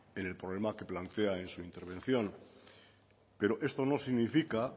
en problema que plantea en su intervención pero esto no significa